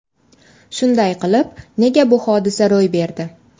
Shunday qilib, nega bu hodisa ro‘y berdi?